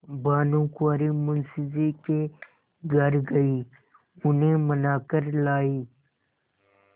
भानुकुँवरि मुंशी जी के घर गयी उन्हें मना कर लायीं